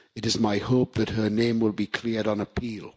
It is my hope that her name will be cleared on appeal.